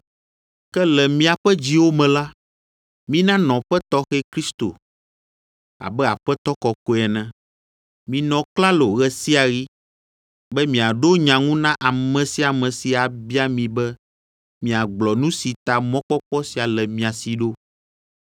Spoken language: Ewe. Ke le miaƒe dziwo me la, mina nɔƒe tɔxɛ Kristo abe Aƒetɔ kɔkɔe ene. Minɔ klalo ɣe sia ɣi be miaɖo nya ŋu na ame sia ame si abia mi be miagblɔ nu si ta mɔkpɔkpɔ sia le mia si ɖo.